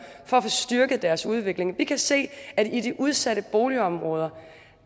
for at få styrket deres udvikling vi kan se at i de udsatte boligområder